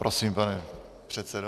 Prosím, pane předsedo.